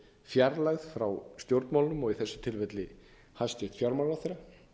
fjarlægð frá stjórnmálunum og í þessu tilfelli hæstvirtur fjármálaráðherra